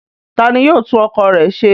Ta ni yóò tún ọkọ̀ rẹ ṣe?